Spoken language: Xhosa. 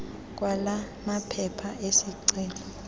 kwala maphepha ezicelo